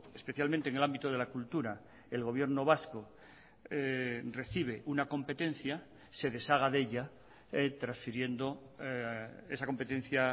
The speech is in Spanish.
especialmente en el ámbito de la cultura el gobierno vasco recibe una competencia se deshaga de ella transfiriendo esa competencia